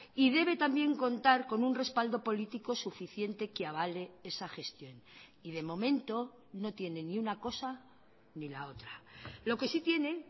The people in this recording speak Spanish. y debe también contar con un respaldo político suficiente que avale esa gestión y de momento no tiene ni una cosa ni la otra lo que sí tienen